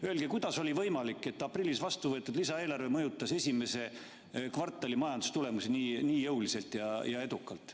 Öelge, kuidas on võimalik, et aprillis vastu võetud lisaeelarve mõjutas esimese kvartali majandustulemusi nii jõuliselt ja edukalt.